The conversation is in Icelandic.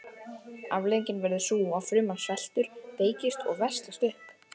Afleiðingin verður sú að fruman sveltur, veikist og veslast upp.